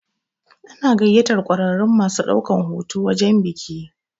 Ana gayyatar ƙwararrun masu ɗaukan hoto wajen biki.